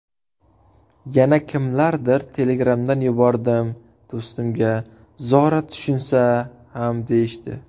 Yana kimlardir telegramdan yubordim do‘stimga, zora tushunsa ham deyishdi.